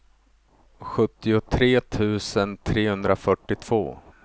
sjuttiotre tusen trehundrafyrtiotvå